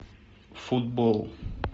футбол